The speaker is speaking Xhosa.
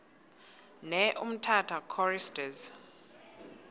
ne umtata choristers